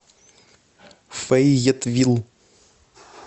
фейетвилл